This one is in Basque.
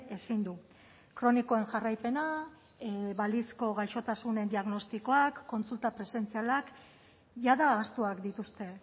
ezin du kronikoen jarraipena balizko gaixotasunen diagnostikoak kontsulta presentzialak jada ahaztuak dituzte